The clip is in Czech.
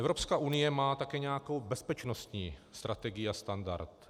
Evropská unie má také nějakou bezpečnostní strategii a standard.